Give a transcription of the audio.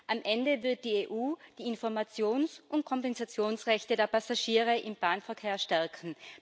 Am Ende wird die EU die Informations und Kompensationsrechte der Passagiere im Bahnverkehr stärken